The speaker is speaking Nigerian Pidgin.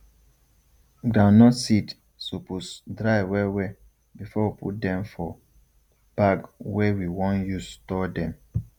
groundnut seed supose dry well well before we put dem for bag wey we want use store dem